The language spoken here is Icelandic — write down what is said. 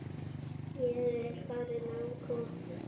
Ég er farin og komin.